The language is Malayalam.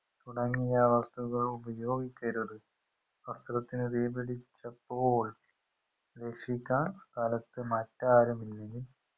തുടങ്ങിയ വസ്തുക്കൾ ഉപയോഗിക്കരുത് വസ്ത്രത്തിന് തീ പിടിച്ചപ്പോൾ രക്ഷിക്കാൻ സ്ഥലത്ത് മറ്റാരുമില്ലെങ്കിൽ